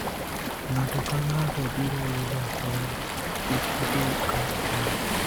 ng'ato ka ng'ato biro yudo hola ,kik ibed kod paro